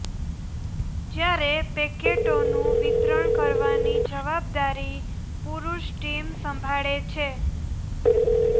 જયારે પેકેટોનું વિતરણ કરવાની જવાબદારી પુરૂષ ટીમ સંભાળે છે